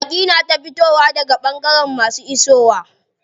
Baƙi na ta fitowa daga ɓangare masu isowa.